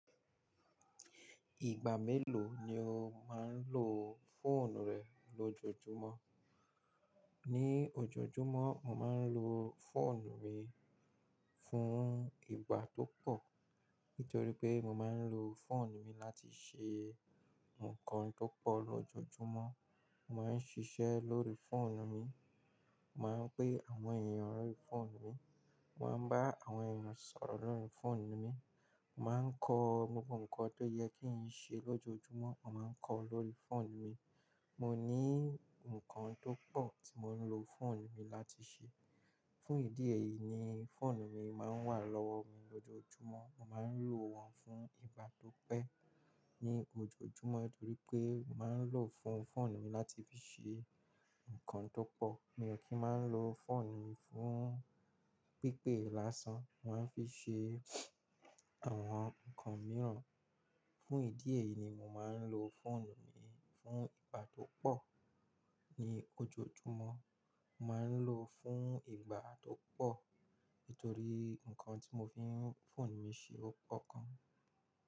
Ìgbà mélòó ni o máa ń lo fóònù rẹ lójoójúmọ́? Ní ojoojúmọ́, mo máa ń lo fóònù mi fún ìgbà tó pọ̀. Nítorí pé mo máa ń lo fóònù mi láti ṣe nǹkan tó pọ̀ lójoójúmọ́. Mo máa ń ṣiṣẹ́ lórí fóònù mi. Mo máa ń pé àwọn èèyàn lórí fóònù mi. Mo máa ń bá àwọn èèyàn sọ̀rọ̀ lórí fóònù mi. Mo máa ń kọ́ gbogbo ǹkan tó yẹ kí ń ṣe lójojúmọ́, mo máa ń kọ́ ọ lórí fóònù mi. Mo ní ǹkan tó pọ̀ tí mo ń lo fóònù mi láti ṣe. Fún ìdí èyí ni fóònù mi máa ń wà lọ́wọ́ mi lójoójúmọ́. Mo máa ń lò wọ́n fún ìgbà tó pẹ́ ní ojoojúmọ́. Nítorí pé mo máa ń lò fún fóònù mi láti fi ṣe ǹkan tó pọ̀. Mi o kí ń máa ń lo fóònù mi fún pípè lásán. Mo máa ń fi ṣe àwọn ǹkan mìíràn. Fún ìdí èyí ni mo máa ń lo fóònù mi fún ìgbà tó pọ̀ ní ojoojúmọ́. Mo máa ń lò ó fún ìgbà tó pọ̀. Nítorí ǹkan tí mo fi ń fóònù mi ṣe ó pọ̀ gan.